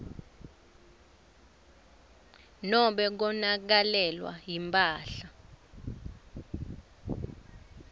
nobe konakalelwa yimphahla